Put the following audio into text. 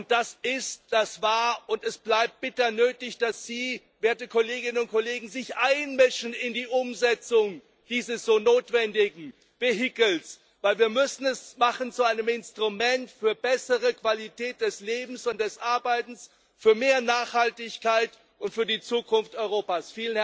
Es ist, es war und es bleibt bitter nötig, dass Sie, werte Kolleginnen und Kollegen, sich einmischen in die Umsetzung dieses so notwendigen Vehikels, weil wir es zu einem Instrument für eine bessere Qualität des Lebens und des Arbeitens, für mehr Nachhaltigkeit und für die Zukunft Europas